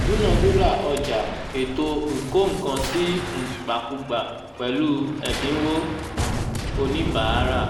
dúnadúrà ọjà ètò ìkó-nǹkan-sí-ìgbàkúgbà pẹ̀lú ẹ̀dínwó oníbàárà